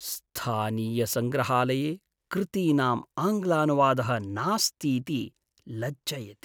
स्थानीयसङ्ग्रहालये कृतीनाम् आङ्ग्लानुवादः नास्तीति लज्जयति।